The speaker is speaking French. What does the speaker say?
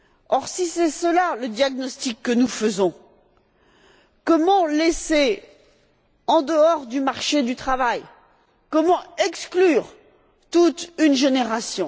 Or, si c'est cela le diagnostic que nous posons, comment pouvons nous laisser en dehors du marché du travail et exclure toute une génération?